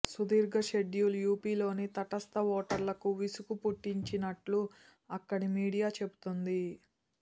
సుదీర్ఘ షెడ్యూల్ యూపీలోని తటస్థ ఓటర్లకు విసుగుపుట్టించినట్లు అక్కడి మీడియా చెబుతోంది